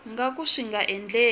nga ka swi nga endleki